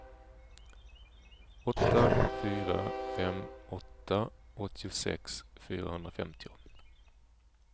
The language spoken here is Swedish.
åtta fyra fem åtta åttiosex fyrahundrafemtio